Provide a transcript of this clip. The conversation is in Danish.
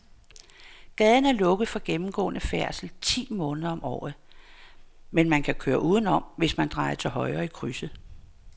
Gaden er lukket for gennemgående færdsel ti måneder om året, men man kan køre udenom, hvis man drejer til højre i krydset.